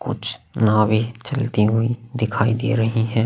कुछ नावे चलती हुई दिखाई दे रही है।